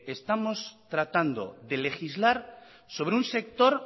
estamos tratando de legislar sobre un sector